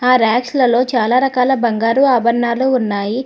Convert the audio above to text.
ఆ ర్యాక్సలల్లో చాలా రకాల బంగారు ఆభరణాలు ఉన్నాయి.